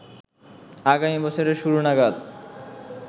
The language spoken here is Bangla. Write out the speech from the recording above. আগামী বছরের শুরু নাগাদ